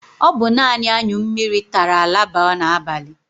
O bu nani aṅyụ mmiri tara laba n'abali